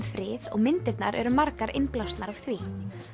frið og myndirnar eru margar innblásnar af því